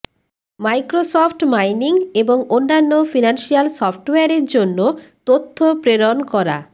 Microsoft mining এবং অন্যান্য financial সফটওয়্যারের জন্য তথ্য প্রেরণ করা